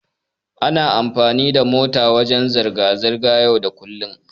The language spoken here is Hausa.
Ana amfani da mota wajen zirga-zirga yau da kullum.